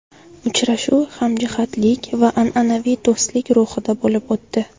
Uchrashuv hamjihatlik va an’anaviy do‘stlik ruhida bo‘lib o‘tdi.